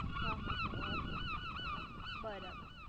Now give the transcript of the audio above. હ હ હ બરાબર